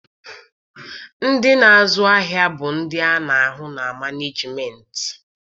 Ndị na-azụ ahịa bụ ndị a na-ahụ na manejimentị.